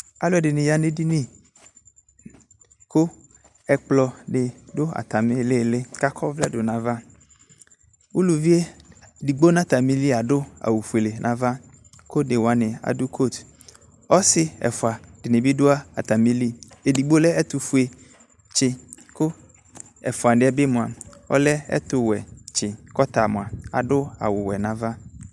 Alʋɛdini yanʋ edini kʋ ɛkplɔdi dʋ atami ilili kakɔ ɔvlɛ dʋnʋ ayava uluvibedigbo nʋ atmili adʋ awʋ fuele nʋ ava kʋ onewani adʋ kot ɔsi ɛfʋa dini bi dʋ atamili edigbo lɛ ɛtʋfʋetsi kʋ ɛfʋanibi mʋa ɛlɛ ɛtʋwɛtsi kʋ ɔtamʋa adʋ awʋwɛ nʋ ava